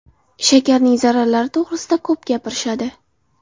Shakarning zararlari to‘g‘risida ko‘p gapirishadi.